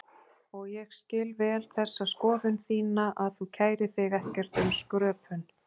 Og ég skil vel þessa skoðun þína að þú kærir þig ekkert um skröpun.